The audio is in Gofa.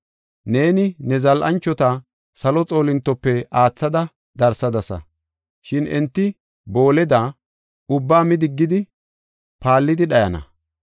Neeni ne zal7anchota salo xoolintotape aathada darsadasa. Shin enti booleda ubbaa mi diggidi paallidi dhayana.